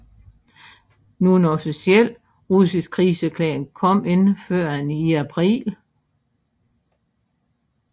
Nogen officiel russisk krigserklæring kom ikke førend i april